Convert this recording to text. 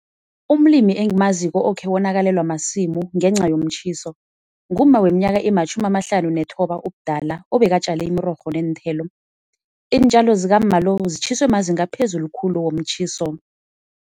Umlimi engimaziko okhe wonakalelwa masimu ngenca yomtjhiso, ngumma weminyaka ematjhumi amahlanu nethoba ubudala obekatjale imirorho neenthelo. Iintjalo zikamma lo zitjhiswe mazinga aphezulu khulu womtjhiso.